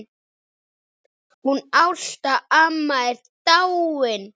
Hún Ásta amma er dáin.